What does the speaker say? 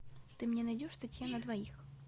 ты мне найдешь статья на двоих